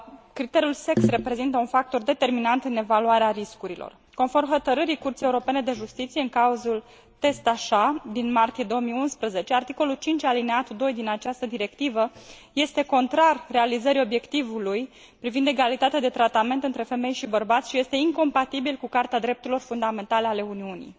criteriul de gen reprezintă un factor determinant în evaluarea riscurilor. Conform Hotărârii Curții Europene de Justiție în cazul Test Achats, din martie 2011, articolul 5 alineatul din directivă este contrar realizării obiectivului privind egalitatea de tratament între femei și bărbați și este incompatibil cu Carta drepturilor fundamentale ale Uniunii.